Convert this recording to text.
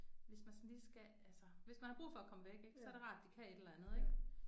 Hvis man sådan lige skal altså. Hvis man har brug for at komme væk ik så er det rart de kan et eller andet ik